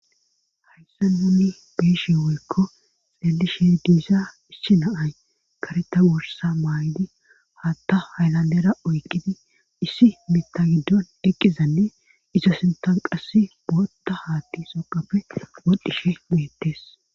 hayssa nunni biishi wuykko xelishe diisa issi naay kareta worsa maay7idi hatta hayllandera oykkidi issi mita giddon eqqizanne izo sintan qass boota haatti soqappe wodhishe beettes